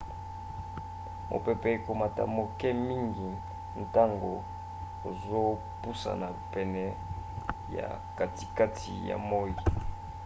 mopepe ekomaka moke mingi ntango ozopusana pene ya katikati ya moi